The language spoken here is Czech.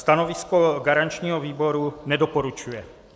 Stanovisko garančního výboru: nedoporučuje.